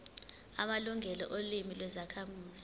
amalungelo olimi lwezakhamuzi